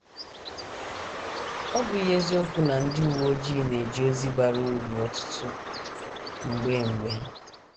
Ọ́ bụghị eziokwu na ndị uwe ojii na - eje ozi bara uru ọtụtụ mgbe mgbe?